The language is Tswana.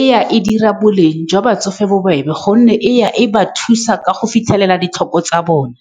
e ya e dira boleng jwa batsofe bobebe, ka gonne e ya e ba thusa ka go fitlhelela ditlhoko tsa bone.